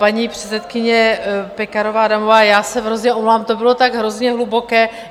Paní předsedkyně Pekarová Adamová, já se hrozně omlouvám, to bylo tak hrozně hluboké.